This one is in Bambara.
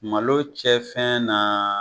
Malo cɛ fɛn na